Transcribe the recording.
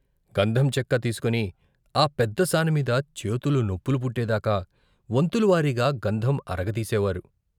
గంధం చెక్క తీసుకుని ఆ పెద్ద సానమీద చేతులు నొప్పులు పుట్టేదాకా వంతుల వారీగా గంధం అరగ తీసేవారు.